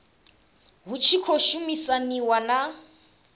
hu tshi khou shumisaniwa na